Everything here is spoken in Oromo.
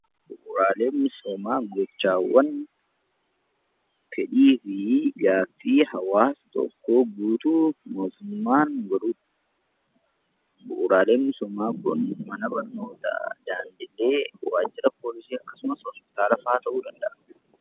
Bu'uuraaleen misoomaa gochaawwan fedhii fi gaaffii hawaasa tokkoo guutuu fi mootummaan godhudha. Bu'uuraaleen misoomaa kun mana barnootaa, daandiilee, waajjira poolisii akkasumas hospitaalafaa ta'uu danda'a.